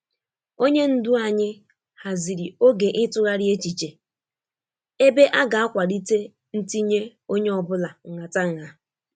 onye ndu anyi haziri oge itughari echiche, ebe aga akwalite ntinye onye ọbula nghatangha.